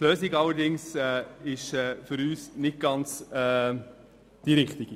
Die Lösung allerdings ist für uns nicht die Richtige.